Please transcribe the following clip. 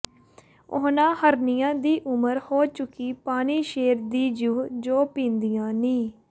ਉਹਨਾਂ ਹਰਨੀਆਂ ਦੀ ਉਮਰ ਹੋ ਚੁੱਕੀ ਪਾਣੀ ਸ਼ੇਰ ਦੀ ਜੂਹ ਜੋ ਪੀਂਦੀਆਂ ਨੀ